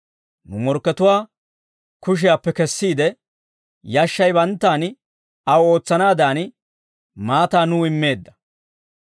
nu morkkatuwaa kushiyaappe kesiide, yashshay banttaan aw ootsanaadan, maataa nuw immeedda.